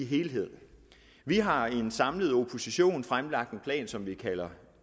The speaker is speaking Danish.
helhed vi har i en samlet opposition fremlagt en plan som vi kalder